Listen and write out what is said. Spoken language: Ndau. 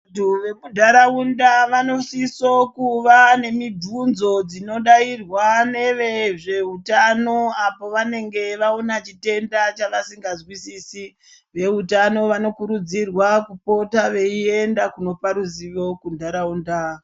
Vantu vemundaraunda, vanosiso kuva nemibvunzo dzinodayirwa nevezveutano, apo vanenge vaona chitenda chavasingazwisisi, veutano vanokurudzirwa kupota veyienda kundopa ruzivo kundaraunda.